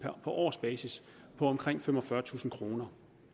på årsbasis på omkring femogfyrretusind kroner